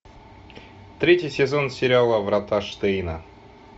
третий сезон сериала врата штейна